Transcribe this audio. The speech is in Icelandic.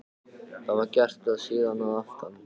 Það var gert og síðan að aftan.